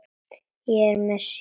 Er það sem mér sýnist?